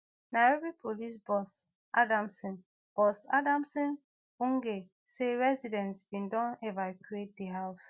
nairobi police boss adamson boss adamson bungei say residents bin don evacuate di house